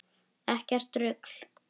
Ekkert rugl.